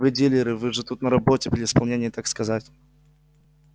вы дилеры вы же тут на работе при исполнении так сказать